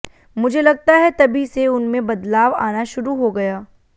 मुझे लगता है तभी से उनमें बदलाव आना शुरू हो गया